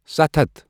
ستھ ہتھ ۔